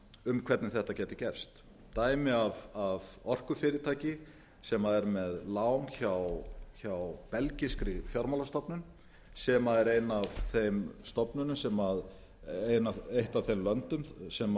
um hvernig þetta gæti gerst dæmi af orkufyrirtæki sem er með lán hjá belgískri fjármálastofnun sem er ein af þeim stofnunum sem eitt af þeim löndum sem